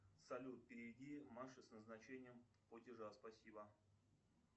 салют переведи маше с назначением платежа спасибо